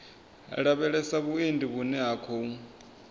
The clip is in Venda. lavhelesa vhuendi vhune ha khou